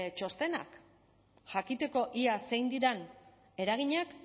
txostenak jakiteko ea zein diren eraginak